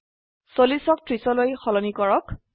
40ক 30লৈ সলনি কৰক